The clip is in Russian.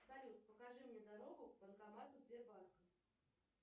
салют покажи мне дорогу к банкомату сбербанка